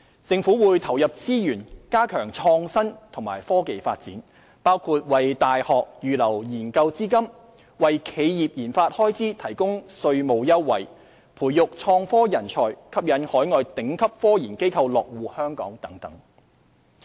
政府會投入資源加強創新及科技發展，包括為大學預留研究資金、為企業研發開支提供稅務優惠、培育創科人才、吸引海外頂級科研機構落戶香港等。